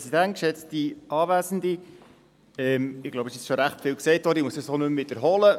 Es ist bereits ziemlich vieles gesagt worden, und ich glaube, ich muss es nicht wiederholen.